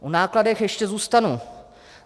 U nákladů ještě zůstanu.